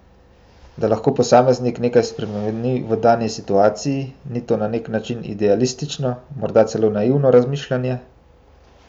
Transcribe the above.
Da lahko posameznik nekaj spremeni v dani situaciji, ni to na nek način idealistično, morda celo naivno razmišljanje?